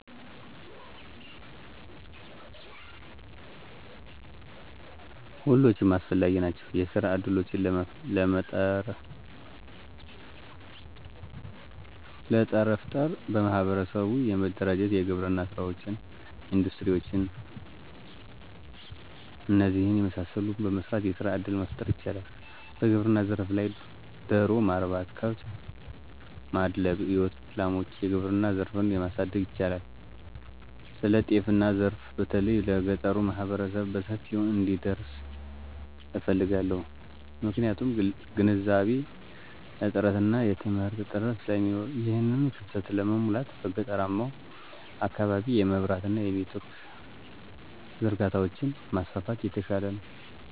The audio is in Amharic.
ሁሎችም አስፈላጊ ናቸዉ። የስራ እድሎችን ለጠረፍጠር በማሕበር በመደራጀት የግብርና ሥራወችን፣ እንዱስትሪ ውችን እነዚህን የመሳሰሉትን በመሰራት ሥራ እድል መፍጠር ይቻላል። በግብርና ዘርፍ ላይ ደሮ ማርባት፣ ከብት ማድለብ፣ የወተት ላሟች፣ የግብርና ዘርፉን ማሣደግ ይቻላል። ስለጤናዘርፋ በተለይ ለገጠሩህብረተሰብ በሰፊው እንዲደርስ እፈልጋለሁ። ምክንያቱም ግንዛቤ እጥአትና የትምህርት እጥረት ስለሚኖር። ይሕንን ክፋተት ለመሙላት፦ በገጠራማዉ አካባቢ የመብራት አና የኔትወርክ ዝርጋታዎችን ማስፋፋት የተሻለ ነዉ